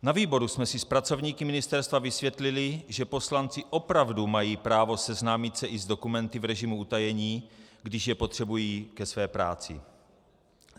Na výboru jsme si s pracovníky ministerstva vysvětlili, že poslanci opravdu mají právo seznámit se i s dokumenty v režimu utajení, když je potřebují ke své práci.